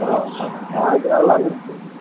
ஆஹ் அது நல்லா இருந்துச்சு